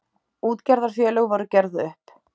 Útgerðarfélög voru gerð upp.